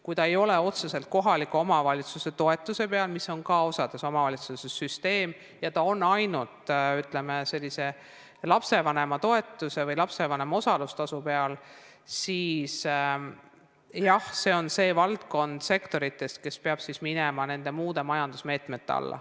Kui see ei ole otseselt kohaliku omavalitsuse toetuse peal, mida see osas omavalitsustes ka on, ja see on ainult lapsevanema toetuse või osalustasu peal, siis jah, see on see valdkond, mis peab minema muude majandusmeetmete alla.